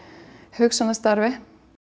hugsjónastarfi